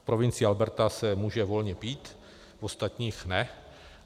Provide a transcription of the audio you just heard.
V provincii Alberta se může volně pít, v ostatních ne.